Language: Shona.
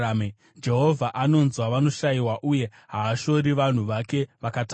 Jehovha anonzwa vanoshayiwa uye haashori vanhu vake vakatapwa.